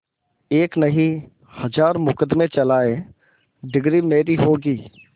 एक नहीं हजार मुकदमें चलाएं डिगरी मेरी होगी